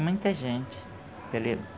Muita gente.